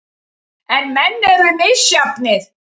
En menn eru misjafnir.